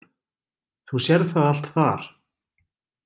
Þú sérð það allt þar.